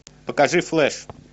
покажи флэш